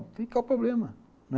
O que é o problema?